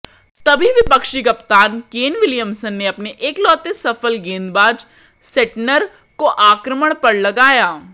तभी विपक्षी कप्तान केन विलियिमसन ने अपने इकलौते सफल गेंदबाज सेंटनर को आक्रमण पर लगया